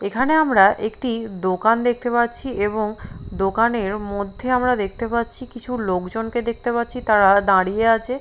এখানে আমরা একটি দোকান দেখতে পাচ্ছি এবং দোকানের মধ্যে আমরা দেখতে পাচ্ছি কিছু লোকজনকে দেখতে পাচ্ছি তারা দাঁড়িয়ে আছে --